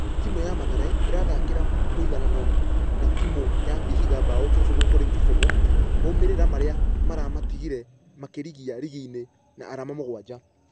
Timũ ya mathare ĩrathakire mũiganano na timũ ya vihiga bao kĩbũgũ kũrĩ kĩbũgũ, maumerera marĩa maramatigire makĩrigia rigi-inĩ na arama mũgwaja.